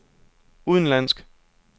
udenlandsk